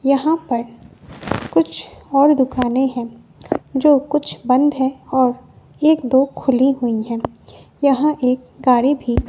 यहाँ पर कुछ और दुकानें हैं जो कुछ बंद है और एक दो खुली हुई है यहाँ एक गाड़ी भी --